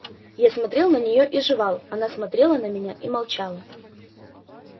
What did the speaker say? я смотрел на нее и жевал она смотрела на меня и молчала